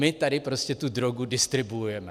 My tady prostě tu drogu distribuujeme.